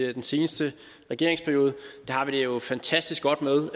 i den seneste regeringsperiode det har vi det jo fantastisk godt med